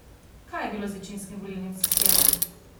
Kaj je bilo z večinskim volilnim sistemom?